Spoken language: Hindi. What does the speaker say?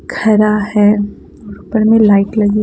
खरा है ऊपर में लाइट लगी--